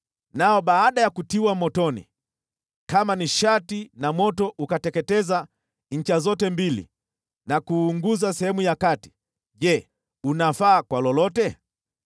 Nao baada ya kutiwa motoni kama nishati na moto ukateketeza ncha zote mbili na kuunguza sehemu ya kati, je, unafaa kwa lolote?